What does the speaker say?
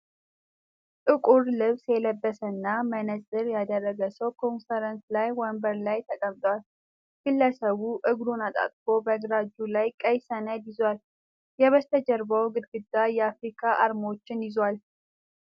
ጥቁር ልብስ የለበሰና መነፅር ያደረገ ሰው ኮንፈረንስ ላይ ወንበር ላይ ተቀምጧል። ግለሰቡ እግሩን አጣጥፎ በግራ እጁ ቀይ ሰነድ ይዟል። የበስተጀርባው ግድግዳ የአፍሪካ አርማዎችን ይዟል።